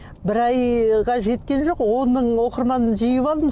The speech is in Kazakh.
бір айға жеткен жоқ он мың оқырман жиып алдым